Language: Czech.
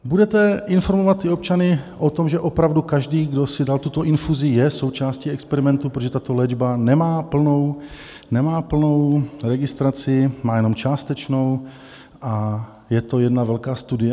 Budete informovat občany o tom, že opravdu každý, kdo si dal tuto infuzi, je součástí experimentu, protože tato léčba nemá plnou registraci, má jenom částečnou a je to jedna velká studie?